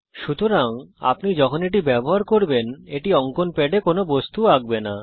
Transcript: সুতরাং আপনি যখন এটি ব্যবহার করবেন এটি অঙ্কন প্যাডে কোনো বস্তু আঁকবে না